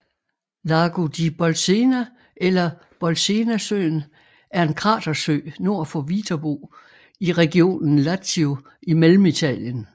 Lago di Bolsena eller Bolsenasøen er en kratersø nord for Viterbo i regionen Lazio i Mellemitalien